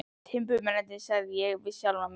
Timburmennirnir, sagði ég við sjálfan mig.